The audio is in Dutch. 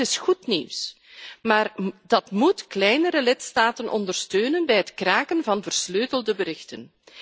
Dat is goed nieuws. Dat moet kleinere lidstaten ondersteunen bij het kraken van versleutelde berichten.